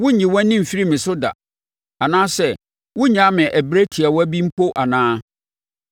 Worenyi wʼani mfiri me so da, anaasɛ worennyaa me ɛberɛ tiawa bi mpo anaa?